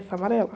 Essa amarela.